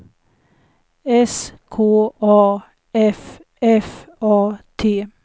S K A F F A T